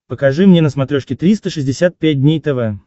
покажи мне на смотрешке триста шестьдесят пять дней тв